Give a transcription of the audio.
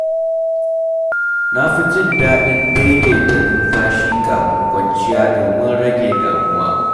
Na fi jin daɗin daidaita numfashi kafin kwanciya domin rage damuwa.